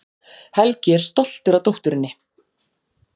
Helgi er stoltur af dótturinni.